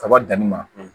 Kaba danni ma